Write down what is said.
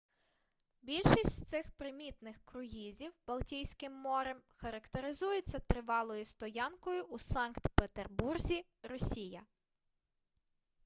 більшість з цих примітних круїзів балтійським морем характеризуються тривалою стоянкою у санкт петербурзі росія